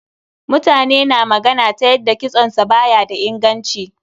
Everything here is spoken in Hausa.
Mutane na ta magana ta yanda kitson sa ba ya da inganci.